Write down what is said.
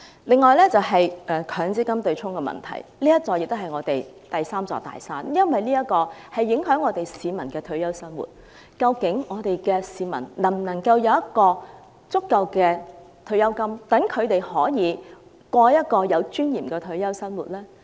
另一方面，強積金對沖機制是香港的第三座"大山"，因為這會影響香港市民的退休生活，究竟香港市民能否有足夠的退休金，可以過有尊嚴的退休生活？